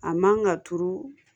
A man ka turu